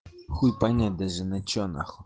хуй понять даже на что нахуй